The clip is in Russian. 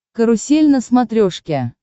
карусель на смотрешке